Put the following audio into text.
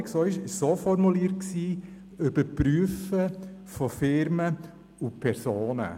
Sie war so formuliert: überprüfen von Firmen und Personen.